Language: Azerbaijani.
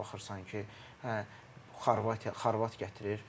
Baxırsan ki, hə Xorvatiya, xorvat gətirir.